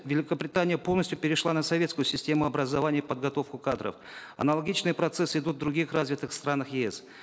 великобритания полностью перешла на советскую систему образования и подготовку кадров аналогичные процессы идут в других разитых странах еэс